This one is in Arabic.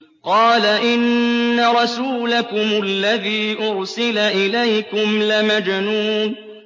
قَالَ إِنَّ رَسُولَكُمُ الَّذِي أُرْسِلَ إِلَيْكُمْ لَمَجْنُونٌ